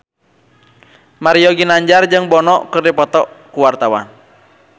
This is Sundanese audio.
Mario Ginanjar jeung Bono keur dipoto ku wartawan